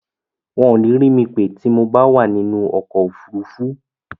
Wọ́n ò ní rí mi pè tí mo bá wà nínú ọkọ̀ òfurufú.